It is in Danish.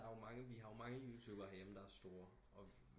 Der er jo mange vi har jo mange youtubere her hjemme der er store